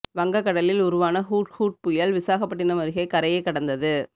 வங்க கடலில் உருவான ஹுட்ஹுட் புயல் விசாகப்பட்டினம் அருகே கரையை கடந்தது